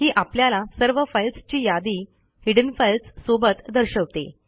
ही आपल्याला सर्व फाईल्सची यादी हिडेन फाइल्स सोबत दर्शवते